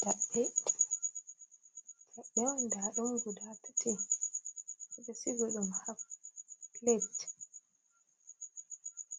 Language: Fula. Jaɓɓe, jaɓɓe on ndaa ɗum guda tati, ɓe sigi ɗum haa pilet.